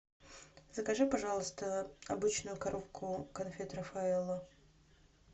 закажи пожалуйста обычную коробку конфет рафаэлло